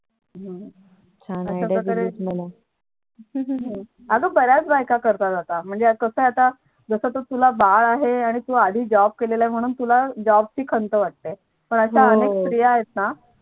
हम्म छान आहे आग बऱ्याच बायका करता आता कस आहे आता बाळ आहे तुला तू Job केले आहे म्ह्णून तुला Job ची खंत वाटते अश्या अनेक स्त्रिया आहेत ना